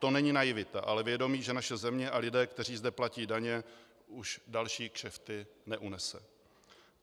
To není naivita, ale vědomí, že naše země a lidé, kteří zde platí daně, už další kšefty neunesou.